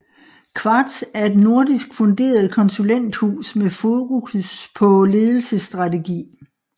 Qvartz er et nordisk funderet konsulenthus med fokus på ledelsesstrategi